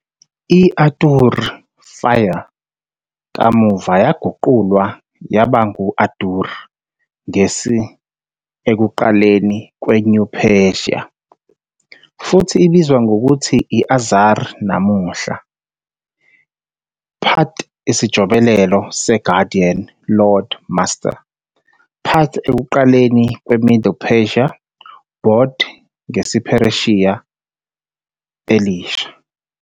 I-ātūr 'fire', kamuva yaguqulwa yaba ngu-ādur ngesi-, ekuqaleni, kwe-New Persian, futhi ibizwa ngokuthi āzar namuhla, -pat isijobelelo se- -guardian, -lord, -master -pat ekuqaleni kwe-Middle Persian, -bod, ngesiPheresiya Elisha.